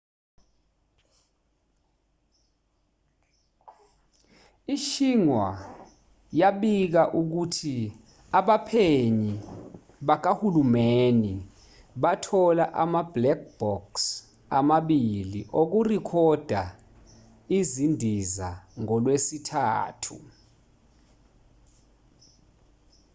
i-xinhua yabika ukuthi abaphenyi bakahulumeni bathola ama- black box” amabilii okurekhoda izindiza ngolwesithathu